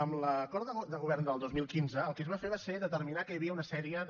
en l’acord de govern del dos mil quinze el que es va fer va ser determinar que hi havia una sèrie de